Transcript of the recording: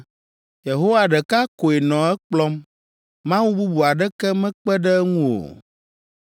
Yehowa ɖeka koe nɔ ekplɔm mawu bubu aɖeke mekpe ɖe eŋu o.